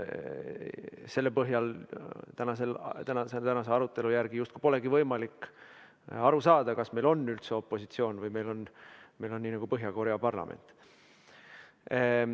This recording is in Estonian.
Selle põhjal tänase arutelu järgi justkui polegi võimalik aru saada, kas meil on üldse opositsioon või meil on nii nagu Põhja-Korea parlamendis.